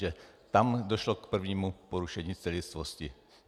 Že tam došlo k prvnímu porušení celistvosti.